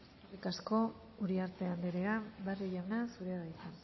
eskerrik asko uriarte anderea barrio jauna zurea da hitza